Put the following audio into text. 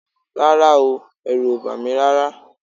Rárá o, ẹ̀rù ò bà mí rárá